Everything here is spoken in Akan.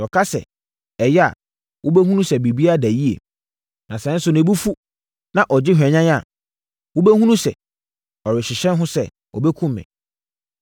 Sɛ ɔka sɛ, ‘Ɛyɛ’ a, wobɛhunu sɛ biribiara da yie. Na sɛ nso ne bo fu, na ɔgye hwanyan a, wobɛhunu sɛ, ɔrehyehyɛ ho sɛ, ɔbɛkum me.